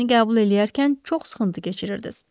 Məni qəbul eləyərkən çox sıxıntı keçirirdiz.